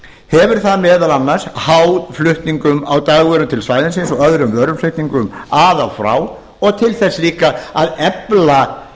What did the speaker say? hefur það meðal annars háð flutningum á dagvöru til svæðisins og öðrum vöruflutningum að og frá og til þess líka að efla